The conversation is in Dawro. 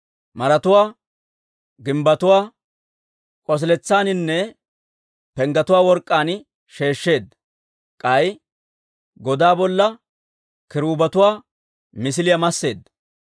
Maretuwaa, gimbbetuwaa, k'osiletsaaninne penggetuwaa work'k'aan sheeshsheedda; k'ay godaa bolla kiruubetuwaa misiliyaa masseedda.